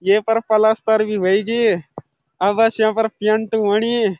येपर पलस्तर भी वेई जी अब बस यूँ फर पेअंट ह्वणी।